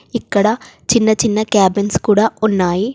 ఇక్కడ చిన్న చిన్న క్యాబిన్స్ కూడా ఉన్నాయి.